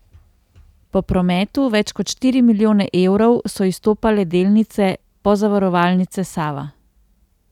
Po prometu, več kot štiri milijone evrov, so izstopale delnice Pozavarovalnice Sava.